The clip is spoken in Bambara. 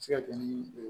Se ka kɛ ni